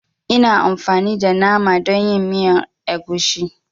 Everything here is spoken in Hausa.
Ina amfani da Naman akuya dan yin miyar agushi.